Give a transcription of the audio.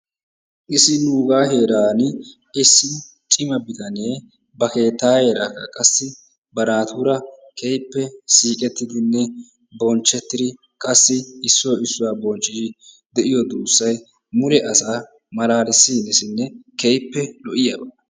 Issi nugaa heeran issi cima bitanee ba kettayeera qassi ba naatura keehippe siqettidinne bonchchetidi qassi issoy issuwaa bonchchidi de'iyoo duussay mule asaa malaalisiyaabanne keehippe lo"iyaaba.